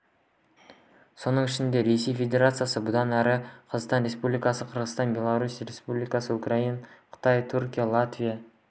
соның ішінде ресей федерациясы бұдан әрі қазақстан республикасы қырғызстан беларусь республикасы украина қытай түркия латвия